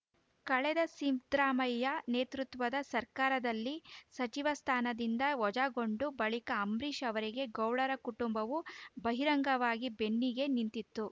ಕಳೆದ ಸಿದ್ದ ರಾಮಯ್ಯ ನೇತೃತ್ವದ ಸರ್ಕಾರದಲ್ಲಿ ಸಚಿವ ಸ್ಥಾನದಿಂದ ವಜಾಗೊಂಡ ಬಳಿಕ ಅಂಬರೀಷ್‌ ಅವರಿಗೆ ಗೌಡರ ಕುಟುಂಬವು ಬಹಿರಂಗವಾಗಿ ಬೆನ್ನಿಗೆ ನಿಂತಿತ್ತು